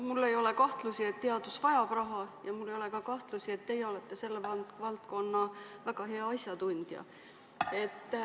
Mul ei ole kahtlusi, et teadus vajab raha, ja mul ei ole ka kahtlusi, et teie olete selle valdkonna väga hea asjatundja.